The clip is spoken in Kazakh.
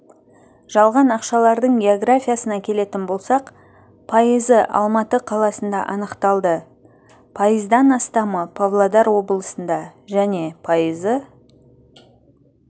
жалған ақшалардың географиясына келетін болсақ пайызы алматы қаласында анықталды пайыздан астамы павлодар облысында және пайызы